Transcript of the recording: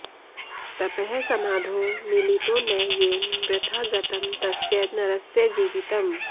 तपः समाधौ मिलितो न येन वृथा गतं तस्य नरस्य जीवितम्